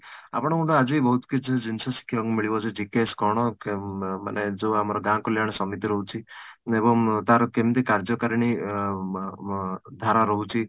ଆପଣଙ୍କ ଠୁ ଆଜି ବହୁତ କିଛି ଜିନିଷ ଶିଖିବାକୁ ମିଳିବ GKS କ'ଣ ? ମାନେ ଅଂ ମାନେ ଯୋଉ ଆମର ଗାଁ କଲ୍ୟାଣ ସମିତି ରହୁଛି ଏବଂ ତାର କେମିତି କାର୍ଯ୍ୟକାରିଣୀ ଅଂ ବ ଧାରା ରହୁଛି